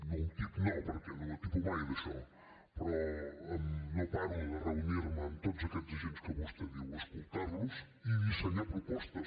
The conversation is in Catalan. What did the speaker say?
no un tip no perquè no m’atipo mai d’això però no paro de reunir me amb tots aquests agents que vostè diu escoltar los i dissenyar propostes